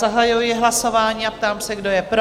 Zahajuji hlasování a ptám se, kdo je pro?